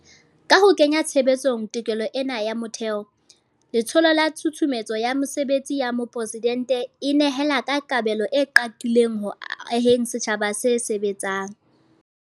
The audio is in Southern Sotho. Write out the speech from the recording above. Ka ho kenya tshebetsong tokelo ena ya motheo, Letsholo la Tshusumetso ya Mesebetsi ya Mopresidente e nehela ka kabelo e qaqileng ho aheng setjhaba se sebetsang.